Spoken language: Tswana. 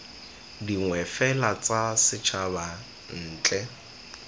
dingwe fela tsa setshaba ntle